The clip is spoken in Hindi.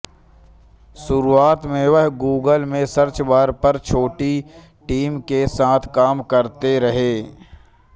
शुरुआत में वह गूगल के सर्च बार पर छोटी टीम के साथ काम करते रहे